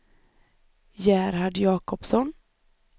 Gerhard Jakobsson